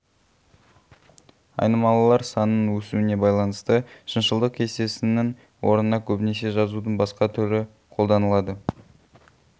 айнымалылар санының өсуіне байланысты шыншылдық кестесінің орнына көбінесе жазудың басқа түрі қолданылады